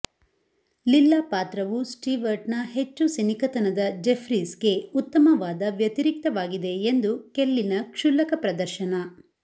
ಲಿಲ್ಲ ಪಾತ್ರವು ಸ್ಟೀವರ್ಟ್ನ ಹೆಚ್ಚು ಸಿನಿಕತನದ ಜೆಫ್ರೀಸ್ಗೆ ಉತ್ತಮವಾದ ವ್ಯತಿರಿಕ್ತವಾಗಿದೆ ಎಂದು ಕೆಲ್ಲಿನ ಕ್ಷುಲ್ಲಕ ಪ್ರದರ್ಶನ